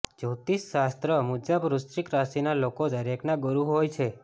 જ્યોતિષ શાસ્ત્ર મુજબ વૃશ્ચિક રાશિના લોકો દરેકના ગુરુ હોય છે